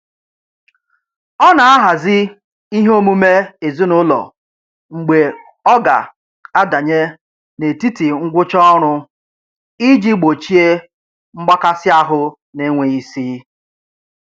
Ọ na-ahazi ihe omume ezinụlọ mgbe ọ ga adanye n'etiti ngwụcha ọrụ iji gbochie mgbakasịahụ n'enweghị isi.